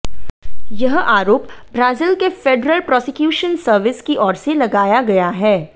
यह आरोप ब्राजील के फेडरल प्रॉसिक्यूशन सर्विस की ओर से लगाया गया है